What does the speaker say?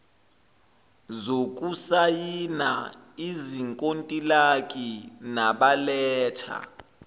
zokusayina izinkontilaki nabaletha